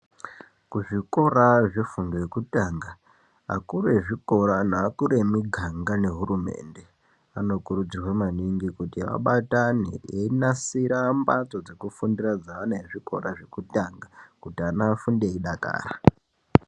Kuzvikora zvefundo yekutanga akuru ezvikora neakuru emuganga neakuru ehurumende. Anokurudzirwa maningi kuti abatane einasira mbatso dzekufundira dzaane zvikora zvekutanga kuti ana afunde eidakara.